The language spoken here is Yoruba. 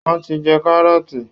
Wọ́n ti jẹ kárọ́ọ̀tì